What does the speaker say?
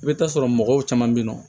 I bɛ taa sɔrɔ mɔgɔw caman bɛ yen nɔ